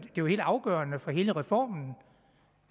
jo helt afgørende for hele reformen